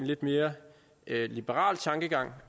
lidt mere liberal tankegang